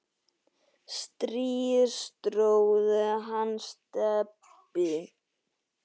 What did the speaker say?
strý tróð hann Stebbi